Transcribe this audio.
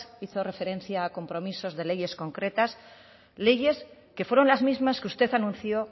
hizo referencia a compromisos de leyes concretas leyes que fueron las mismas que usted anunció